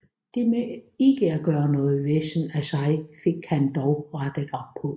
Det med ikke at gøre noget væsen af sig fik han dog rettet op på